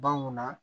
Ban mun na